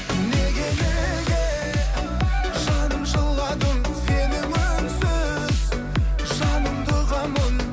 неге неге жаным жыладың сенің үнсіз жаныңды ұғамын